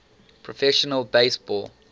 professional base ball